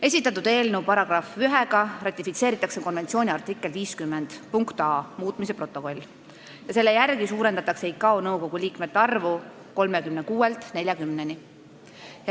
Esitatud eelnõu §-ga 1 ratifitseeritakse konventsiooni artikli 50 muutmise protokoll, millega suurendatakse ICAO nõukogu liikmete arvu 36-lt 40-ni.